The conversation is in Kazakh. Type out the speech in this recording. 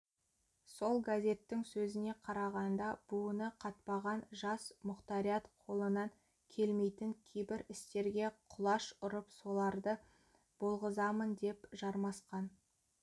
сол газеттің сөзіне қарағанда буыны қатпаған жас мұқтариат қолынан келмейтін кейбір істерге құлаш ұрып соларды болғызамын деп жармасқан